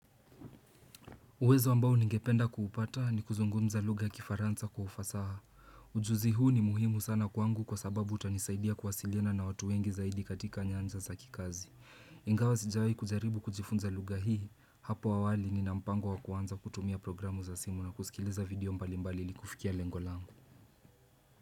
Uwezo ambao ningependa kuupata ni kuzungumza lugha ya kifaranza kwa ufasaha. Ujuzi huu ni muhimu sana kwangu kwa sababu utanisaidia kuwasiliana na watu wengi zaidi katika nyanja za kikazi. Ingawa sijawahi kujaribu kujifunza lugha hii hapo awali nina mpango wa kuanza kutumia programu za simu na kusikiliza video mbalimbali ili kufikia lengo langu.